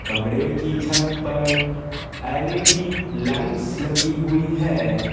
कमरे की छत पर एल‌‌_इ_डी लाइट्स लगी हुई है।